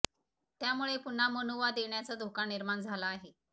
त्यामुळे पुन्हा मनुवाद येण्याचा धोका निर्माण झाला आहे